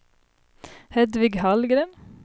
Hedvig Hallgren